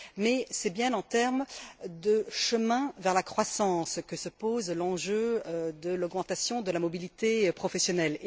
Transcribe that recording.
Mais, c'est bien en termes de chemin vers la croissance que se pose l'enjeu de l'augmentation de la mobilité professionnelle.